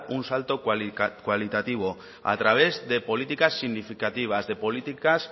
un salto cualitativo a través de políticas significativas de políticas